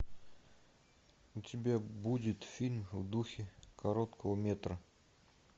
у тебя будет фильм в духе короткого метра